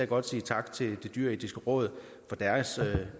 godt sige tak til det dyreetiske råd for deres